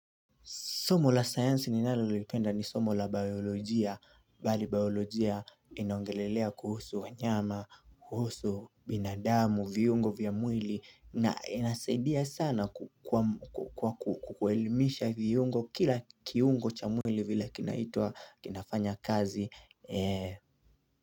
Somo la science ni nalolipenda ni somo la biolojia Bali biolojia inaongelelea kuhusu wanyama, kuhusu binadamu, viungo vya mwili na inasaidia sana kwa kwa kuemilisha viungo kila kiungo cha mwili vile kinaitwa kinafanya kazi.